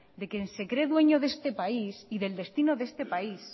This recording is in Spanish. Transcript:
de quien se cree dueño de este país y del destino de este país